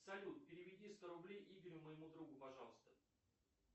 салют переведи сто рублей игорю моему другу пожалуйста